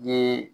Ye